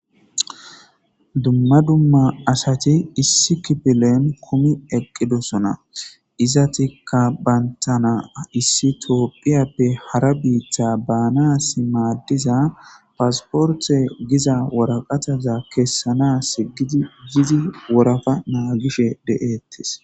Dumma dumma asati issi kidileni kumi eqidosona, izetika bantana issi tophiyeppe hara biita baanasi maadiza passporte giza waraqataza kesanasi giidi bidi woropa naagishe de'etesi.